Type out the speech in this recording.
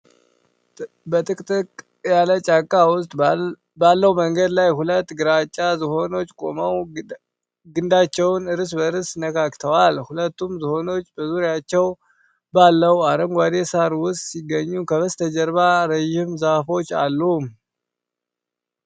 በጥቅጥቅ ያለ ጫካ ውስጥ ባለው መንገድ ላይ ሁለት ግራጫ ዝሆኖች ቆመው ግንዳቸውን እርስ በእርስ ነካክተዋል። ሁለቱም ዝሆኖች በዙሪያቸው ባለው አረንጓዴ ሣር ውስጥ ሲገኙ ከበስተጀርባ ረጅም ዛፎች አሉ።